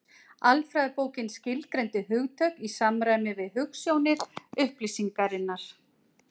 Alfræðibókin skilgreindi hugtök í samræmi við hugsjónir upplýsingarinnar.